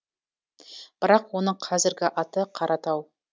бірақ оның қазіргі аты қаратау